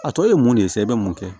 A tɔ ye mun de ye sa i bɛ mun kɛ